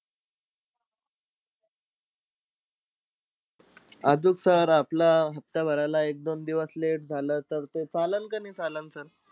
आजूक sir आपलं हफ्ता भरायला एक-दोन दिवस late झालं तर ते चाललं का नाई चाललं sir?